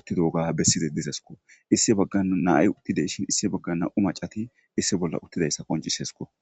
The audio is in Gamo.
uttidoga besside dizesko issi baggan naay uttideshin issi bagga na7u macati issi bolla uttidayssa qoncisesko.